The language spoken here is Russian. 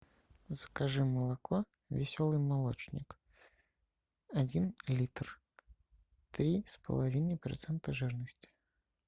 закажи молоко веселый молочник один литр три с половиной процента жирности